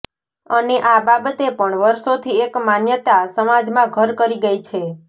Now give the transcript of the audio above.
અને આ બાબતે પણ વર્ષોથી એક માન્યતા સમાજમાં ઘર કરી ગઈ છે